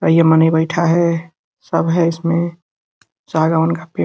भाई ये मनी बैठा है सब है इसमें सागवन का पेड़ --